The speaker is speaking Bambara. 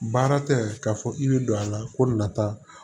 Baara tɛ k'a fɔ i bɛ don a la ko nata